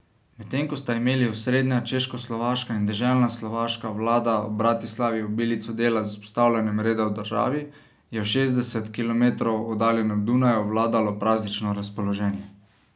Medtem ko sta imeli osrednja češkoslovaška in deželna slovaška vlada v Bratislavi obilico dela z vzpostavljanjem reda v državi, je v šestdeset kilometrov oddaljenem Dunaju vladalo praznično razpoloženje.